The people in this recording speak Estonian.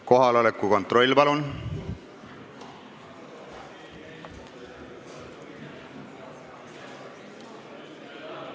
Kohaloleku kontroll, palun!